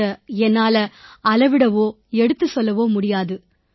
அதை என்னால அளவிடவோ எடுத்துச் சொல்லவோ முடியாது